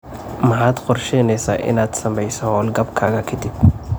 Maxaad qorsheyneysaa inaad sameyso hawlgabkaga ka dib?